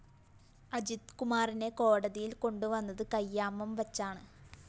അജിത് കുമാറിനെ കോടതിയില്‍ കൊണ്ടുവന്നത് കയ്യാമംവച്ചാണ്